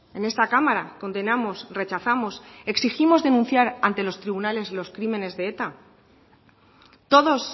en esta cámara condenamos rechazamos exigimos denunciar ante los tribunales los crímenes de eta todos